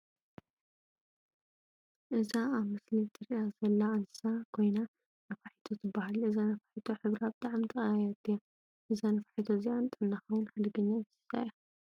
እዛ ኣብ ምስሊ እትረአ ዘላ እንስሳ ኮይና ናፋሒቶ ትባሃል። እዛ ነፋሒቶ ሕብራ ብጣዕሚ ተቀያያሪት እያ። እዛ ነፋሒቶ እዚኣ ንጥዕናካ ውን ሓደገኛ እንስሳት እያ።